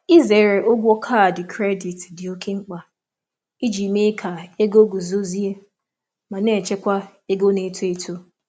Ịzere ụgwọ kaadị kredit dị oké mkpa iji mee ka ego guzozie ma na-echekwa ego na-eto eto.